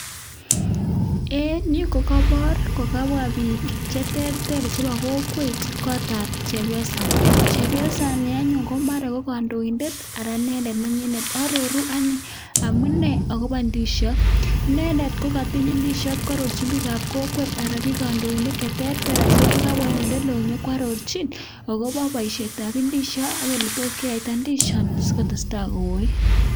En Yu kokabar kokabwa bik cheterter chebo kokwet kotab chepyosaini chepyosaini anyun komara ko kandoindet anan ko inendet ko konyinet akoaroru amune akobo indishot inendet kokatiny indishot akwaroru bik ab kokwet anan ko bik kandoinik cheterter ak chekabwa en olelon konyo kwatochin akoba baishet ab indisinik ak oletot keyaita indishonitondikotestai koyii